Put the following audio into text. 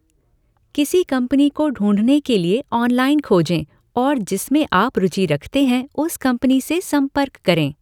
किसी कंपनी को ढूंढने के लिए ऑनलाइन खोजें और जिसमें आप रुचि रखते हैं उस कंपनी से संपर्क करें।